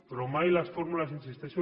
però mai les fórmules hi insisteixo